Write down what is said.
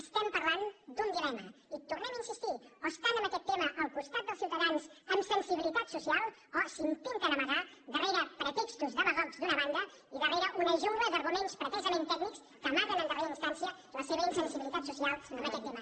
estem parlant d’un dilema hi tornem a insistir o estan en aquest tema al costat dels ciutadans amb sensibilitat social o s’intenten amagar darrere pretextos demagogs d’una banda i darrere una jungla d’arguments pretesament tècnics que amaguen en darrera instància la seva insensibilitat social en aquest tema